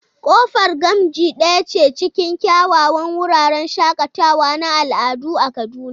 Kofar Gamji daya ce cikin kyawawan wuraren shakatawa na al'adu a Kaduna.